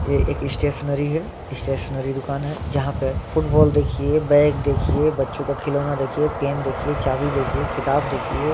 ये एक स्टेशनरी है स्टेशनरी दूकान है जहा पे फुटबॉल देखिये बैग देखिये बच्चो का खिलोना देखिये चाबी देखिये किताब देखिये।